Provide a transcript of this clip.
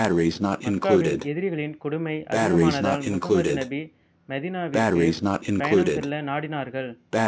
மக்காவில் எதிரிகளின் கொடுமை அதிகமானதால் முகம்மது நபி மதீனாவிற்கு பயணம் செல்ல நாடினார்கள்